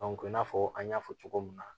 i n'a fɔ an y'a fɔ cogo min na